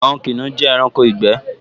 Àwọn kìnìún jẹ́ ẹranko ìgbẹ́